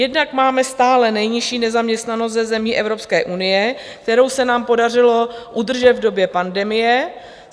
Jednak máme stále nejnižší nezaměstnanost ze zemí Evropské unie, kterou se nám podařilo udržet v době pandemie.